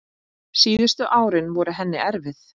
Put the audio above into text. Síðustu árin voru henni erfið.